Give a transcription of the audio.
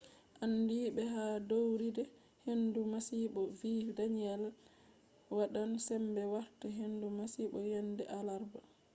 andiiɓe ha ɗowirɗe hendu masibo vi danielle wadan sembe warta hendu masibo yende alarba